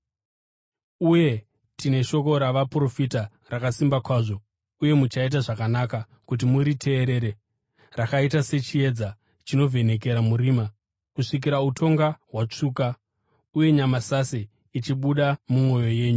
Uye tine shoko ravaprofita rakasimba kwazvo, uye muchaita zvakanaka kuti muriteerere, rakaita sechiedza chinovhenekera murima, kusvikira utonga hwatsvuka uye nyamasase ichibuda mumwoyo yenyu.